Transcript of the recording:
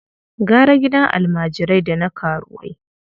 Gara gidan almajirai da na karuwai.